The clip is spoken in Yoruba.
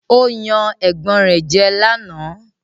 Ó yan ẹ̀gbọ́n rẹ̀ jẹ́ lánàá